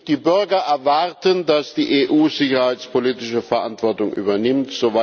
Die Bürger erwarten, dass die EU sicherheitspolitische Verantwortung übernimmt.